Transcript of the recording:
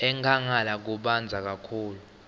enkhangala kubandza kakhulu